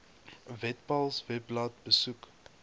webpals webblad besoek